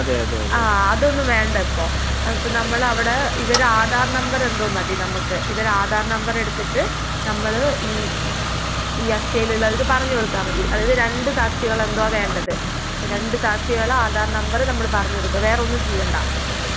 ആഹ് അതൊന്നും വേണ്ട ഇപ്പൊ. അതിപ്പൊ നമ്മളവിടെ ഇവര് ആധാർ നമ്പറെന്തോ മതി നമ്മക്ക് ഇവരാധാർ നമ്പറെടുത്തിട്ട് നമ്മള് ഈ ഈ അക്ഷയിലുള്ളവർക്ക് പറഞ്ഞ് കൊടുത്താ മതി. അതായത് രണ്ട് സാക്ഷികളെന്തോ വേണ്ടത്. അപ്പൊ രണ്ട് സാക്ഷികളുടെ ആധാർ നമ്പർ പറഞ്ഞ് കൊടുക്കാ വേറൊന്നും ചെയ്യണ്ടാ.